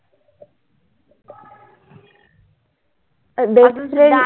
बरेच वेळा